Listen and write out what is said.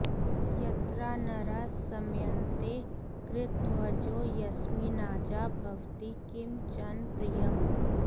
यत्रा नरः समयन्ते कृतध्वजो यस्मिन्नाजा भवति किं चन प्रियम्